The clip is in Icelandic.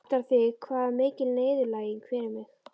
Áttarðu þig á hvað það er mikil niðurlæging fyrir mig?